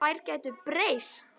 Þær gætu breyst.